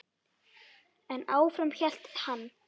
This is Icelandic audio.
En áfram hélt hann.